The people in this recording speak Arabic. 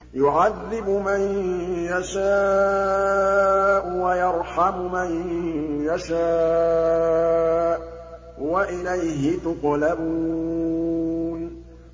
يُعَذِّبُ مَن يَشَاءُ وَيَرْحَمُ مَن يَشَاءُ ۖ وَإِلَيْهِ تُقْلَبُونَ